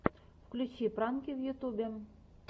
включи пранки в ютьюбе